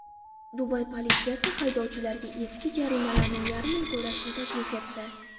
Dubay politsiyasi haydovchilarga eski jarimalarning yarmini to‘lashni taklif etdi.